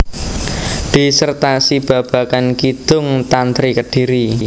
Disertasi babagan Kidung Tantri Kediri